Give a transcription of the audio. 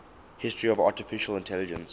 history of artificial intelligence